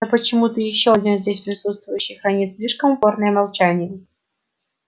но почему-то ещё один здесь присутствующий хранит слишком упорное молчание